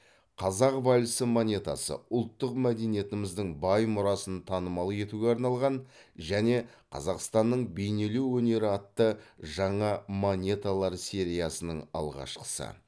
қазақ вальсі монетасы ұлттық мәдениетіміздің бай мұрасын танымал етуге арналған және қазақстанның бейнелеу өнері атты жаңа монеталар сериясының алғашқысы